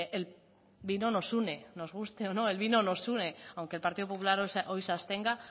el vino nos une nos guste o no el vino nos une aunque el partido popular hoy se abstenga